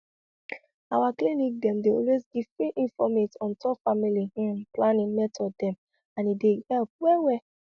our clinic dem dey always give free informate on top family hmm planning method dem and e dey help well well